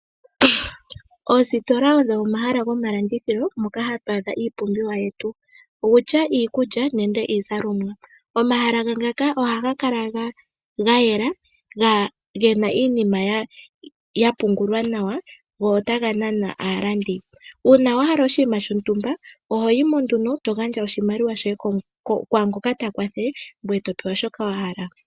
Oositola odho omahala gomalandithilo moka hatu adha iipumbiwa yetu owutya iikulya nenge iizalomwa. Omahala ngaka ohaga kala gayela gena iinima ya pungulwa nawa go otaga nana aalandi. Uuna wahala oshinima shontumba ohoyimo eto gandja oshimaliwa kwaangoka ta kwathele ngoye to kutha shi wahala